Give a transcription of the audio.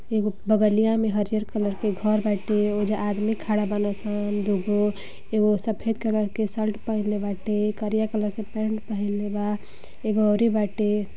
एगो बगलिया में हरिहर कलर के घर बाटे ओहिजा आदमी खड़ा बाड़न सन दुगो एगो सफेद कलर के शर्ट पहिनले बाटे करिया कलर के पैंट पहनले बा एगो अउरी बाटे।